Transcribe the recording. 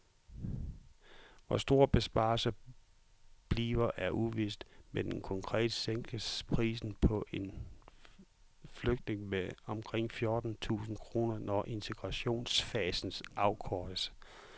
Hvor stor besparelsen bliver er uvist, men konkret sænkes prisen på en flygtning med omkring fjorten tusind kroner, når integrationsfasen afkortes.